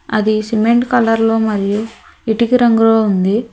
అది cement colour లో మళ్లీ ఇటికి రంగురంగు ఉంది